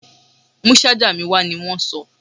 Mú ṣájà mi wá! ní wọ́n sọ.